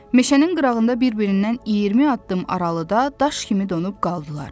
Meşənin qırağında bir-birindən 20 addım aralıda daş kimi donub qaldılar.